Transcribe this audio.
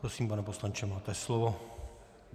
Prosím, pane poslanče, máte slovo.